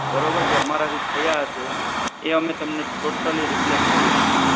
બરોબર જે અમારા થી થયા હશે એ અમે તમને totaly replace કરી આપીશું.